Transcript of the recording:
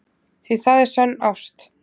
Því það er sönn ást.